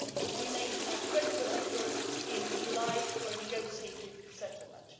We made a credible offer in July for a negotiated settlement.